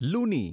લુની